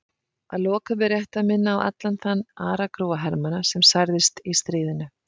Að lokum er rétt að minna á allan þann aragrúa hermanna sem særðist í stríðinu.